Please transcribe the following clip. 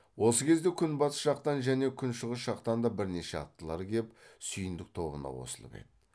осы кезде күнбатыс жақтан және күншығыс жақтан да бірнеше аттылар кеп сүйіндік тобына қосылып еді